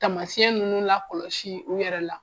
Tamasiyɛn ninnu lakɔlɔsi u yɛrɛ la.